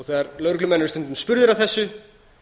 þegar lögreglumenn eru stundum spurðir að þessu